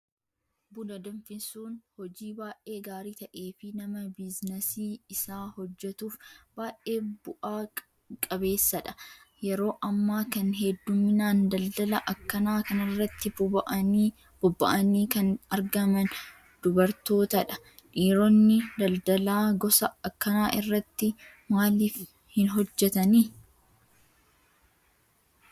Buna danfisuun hojii baay'ee gaarii ta'ee fi nama biizinasii isaa hojjatuuf baay'ee bu'aa qabeessadha. Yeroo ammaa kan hedduminaan daldala akkanaa kanarratti bobba'anii kan argaman dubartootadha. Dhiironni daldala gosa akkanaa irratti maaliif hin hojjatanii?